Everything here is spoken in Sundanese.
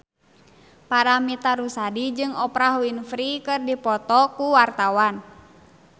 Paramitha Rusady jeung Oprah Winfrey keur dipoto ku wartawan